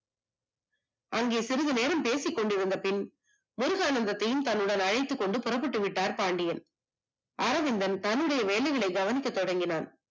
அவங்க சிறுது நேரம் பேசிக்கொண்டிருந்தபின், முருகானந்தத்தையும் தன்னுடன் அழைத்து கொண்டு புறப்பட்டுவிட்டார் பாண்டியன். அரவிந்தன் தன்னுடைய வேலைகளை கவனிக்க தொடங்கினான்.